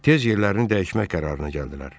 Tez yerlərini dəyişmək qərarına gəldilər.